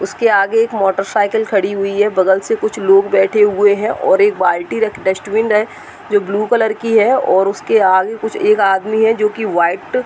उसके आगे एक मोटरसाइकिल खड़ी हुई है। बगल से कुछ लोग बैठे हुए हैं और एक बाल्टी रखडस्टबिन है जो ब्लू कलर की है और उसके आगे कुछ एक आदमी है जो कि व्हाइट --